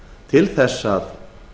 til þess að